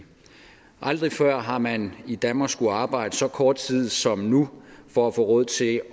aldrig før har man i danmark skullet arbejde så kort tid som nu for at få råd til